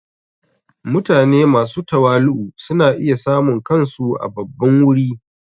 Mutane masu tawali'u suna iya samun kansu a babban wuri.